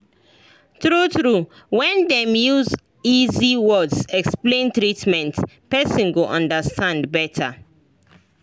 true true when dem use easy words explain treatment person go understand better